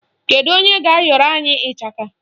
Kedu onye ga-ayọrọ anyị ịchaka?